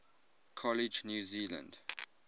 college new zealand